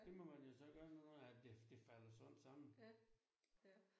Det må man jo så gøre nu når at det det falder sådan sammen